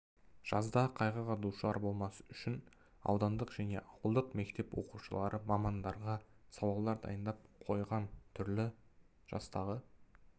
жазда қайғыға душар болмас үшін аудандық және ауылдық мектеп оқушылары мамандарға сауалдар дайындап қойған түрлі жастағы